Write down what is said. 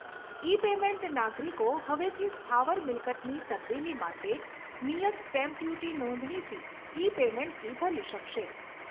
ઇ payment નાગરિકો હવેથી સ્થાવર મિલકતની તબદીલી માટે નિયત સ્ટેમ્પ ડ્યુટી નોંધણી ફી ઇ પેમેન્ટથી ભરી શકશે.